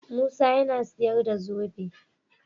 Musa yAna siyar da zobe